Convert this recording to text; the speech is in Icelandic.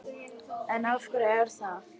En af hverju er það?